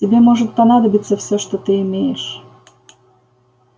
тебе может понадобиться всё что ты имеешь